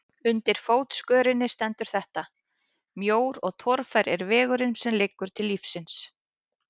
Undir fótskörinni stendur þetta: Mjór og torfær er vegurinn sem liggur til lífsins.